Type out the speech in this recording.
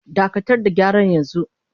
Dakatar da gyara yanzu!